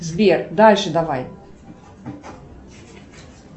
сбер дальше давай